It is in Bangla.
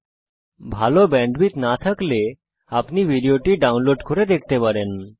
যদি আপনার কাছে ভালো ব্যান্ডউইডথ না থাকে তাহলে আপনি এটা ডাউনলোড করেও দেখতে পারেন